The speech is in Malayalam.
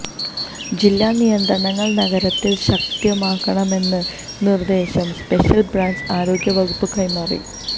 ജില്ലയിലെ നിയന്ത്രണങ്ങള് നഗരത്തില് ശക്തമാക്കണമെന്ന നിര്ദ്ദേശം സ്പെഷ്യല് ബ്രാഞ്ച് ആരോഗ്യ വകുപ്പിന് കൈമാറി